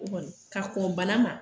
O kɔni ka kɔn bana ma